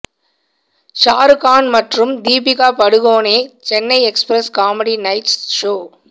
ஷாரு கான் மற்றும் Deepika Padukone Chennai express comedy nights show